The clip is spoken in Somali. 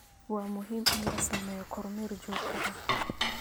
Waa muhiim in la sameeyo kormeer joogto ah